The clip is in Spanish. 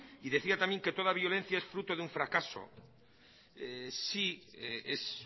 y decía también que toda violencia es fruto de un fracaso sí es